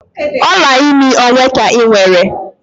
Ọla imi ole ka ị nwere?